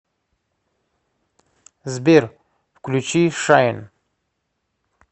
сбер включи шайн